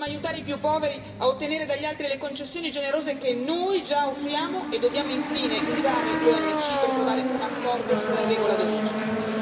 Dobbiamo aiutare i più poveri a ottenere dagli altri le concessioni generose che noi già offriamo e dobbiamo infine usare l'OMC per trovare un accordo sulla regola d'origine.